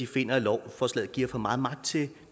finder at lovforslaget giver for meget magt til